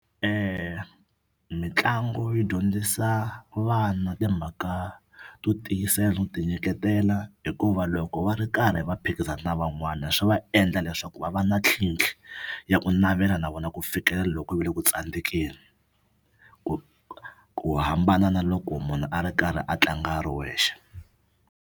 Mitlangu yi dyondzisa vana timhaka to tiyisela no tinyiketela hikuva loko va ri karhi va phikizana na van'wana swi va endla leswaku va va na tlhitlhi ya ku navela na vona ku fikela loko ku va le ku tsandzekeni ku ku hambana na loko munhu a ri karhi a tlanga a ri wexe.